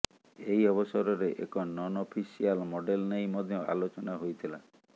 ଏହି ଅବସରରେ ଏକ ନନ୍ ଅଫିସିଆଲ ମଡେଲ ନେଇ ମଧ୍ୟ ଆଲୋଚନା ହୋଇଥିଲା